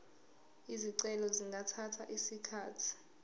izicelo zingathatha isikhathi